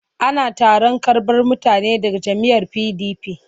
Ana taron karɓar mutane daga jam'iyyar PDP.